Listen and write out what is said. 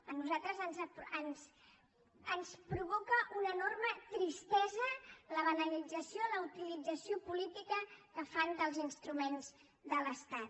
a nosaltres ens provoca una enorme tristesa la banalització la utilització política que fan dels instruments de l’estat